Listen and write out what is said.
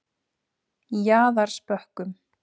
Jaðarsbökkum